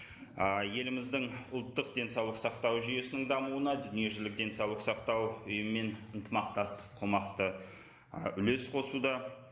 ыыы еліміздің ұлттық денсаулық сақтау жүйесінің дамуына дүниежүзілік денсаулық сақтау ұйымымен ынтымақтастық қомақты ы үлес қосуда